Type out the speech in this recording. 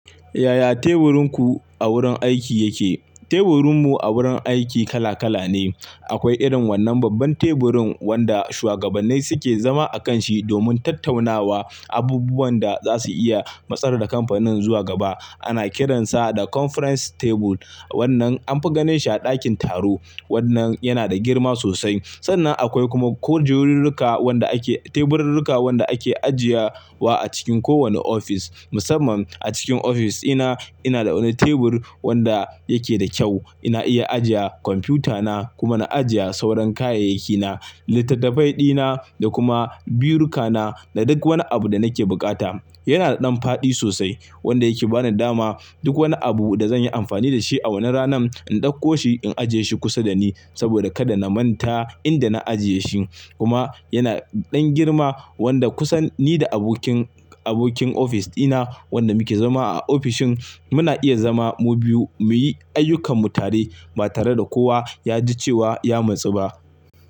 Yaya teburinku a wurin aiki yake? Teburinmu a wurin aiki kala kala ne. Akwai irin wannan babban teburin wanda shuwagabannai suke zama akanshi domin tattaunawa abubuwan da za su iya matsar da kamfanin zuwa gaba. Ana kiransa da conference table. Wannan anfi ganin shi a ɗakin taro. Wannan yana da girma sosai. Sannan akwai kuma kujerurruka wanda ake-- teburrurruka wanda ake ajiye wa a cikin kowane ofis. Musamman a cikin ofis ina, ina da wani tebur wanda yake da kyau. Ina iya ajiye kwamfutana kuma na ajiye sauran kayayyakina, littattafai dina da kuma birukana da duk wani abu da nake bukata. Yana da ɗan faɗi sosai wanda yake bani dama duk wani abu da zan yi amfani da shi a wanan ranan in ɗauko shi, in ajiye shi kusa da ni saboda kada na manta inda na ajiye shi. Kuma yana da ɗan girma wanda kusan ni da abokin, abokin ofis dina wanda muke zama a ofishin muna iya zama mu biyu muyi ayyukanmu tare ba tare da kowa ya ji cewa ya matsu ba.